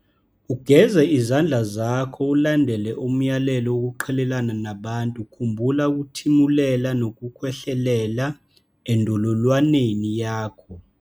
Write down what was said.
.ugeze izandla zakho ulandele umyalelo wokuqhelelana nabantu khumbula ukuthimulela nokukhwehlelela endololwaneni yakho.